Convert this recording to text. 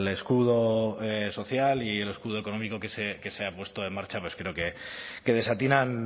escudo social y el escudo económico que se ha puesto en marcha pues creo que desatinan